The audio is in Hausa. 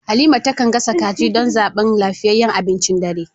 Halima ta kan gasa kaji don zaɓin lafiyayyen abincin dare.